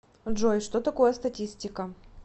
джой что такое статистика